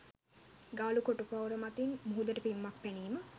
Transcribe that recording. ගාලු කොටු පවුර මතින් මුහුදට පිම්මක් පැනීම